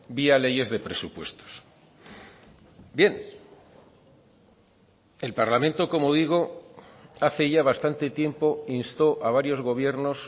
vía leyes de presupuestos bien el parlamento como digo hace ya bastante tiempo instó a varios gobiernos